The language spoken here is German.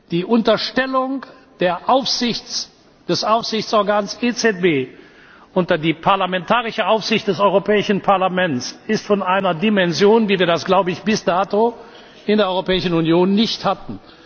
Die Unterstellung des Aufsichtsorgans EZB unter die parlamentarische Aufsicht des Europäischen Parlaments ist von einer Dimension, wie wir das, glaube ich, bis dato in der Europäischen Union nicht hatten.